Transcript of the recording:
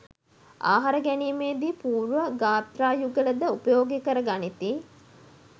ආහාර ගැනීමේ දී පූර්ව ගාත්‍රා යුගල ද උපයෝගී කර ගනිති.